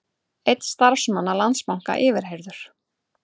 Einn starfsmanna Landsbanka yfirheyrður